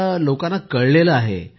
आता तर लोकांना कळलं आहे